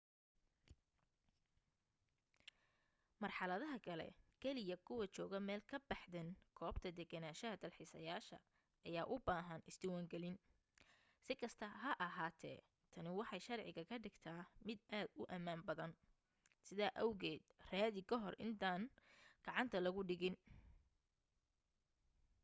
marxaladaha kale kaliya kuwa jooga meel ka baxdan goobta deganaanshaha dalxiisayaasha ayaa u baahan is diwaan galin si kasta ha ahaatee tani waxay sharciga ka dhigtaa mid aad u amaan badan sidaa awgeed raadi kahor intaan gacanta lagu dhigin